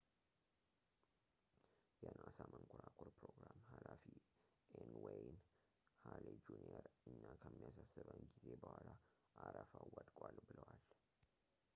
የናሳ መንኮራኩር ፕሮግራም ሃላፊ ኤን ዌይን ሀሌ ጁኒየር እኛ ከሚያሳስበን ጊዜ በኋላ አረፋው ወድቋል ብለዋል